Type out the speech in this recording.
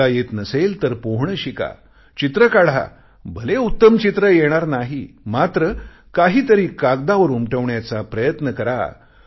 पोहता येत नसेल तर पोहणे शिका चित्रे काढा भले उत्तम चित्र येणार नाही मात्र काहीतरी कागदावर उमटवण्याचा प्रयत्न करा